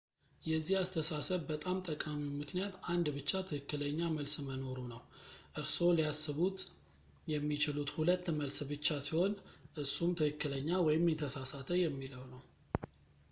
የዚህ አስተሳሰብ በጣም ጠቃሚው ምክንያት አንድ ብቻ ትክክለኛ መልስ መኖሩ ነው እርስዎ ሊያስቡት የሚችሉት ሁለት መልስ ብቻ ሲሆን እሱም ትክክለኛ ወይም የተሳሳተ የሚለው ነው